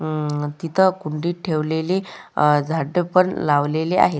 अ तिथं कुंडीत ठेवलेली अ झाडे पण लावलेली आहेत.